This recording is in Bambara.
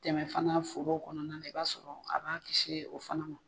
Dɛmɛ fana foro kɔnɔna na, i b'a sɔrɔ a b'a kisi o fana ma.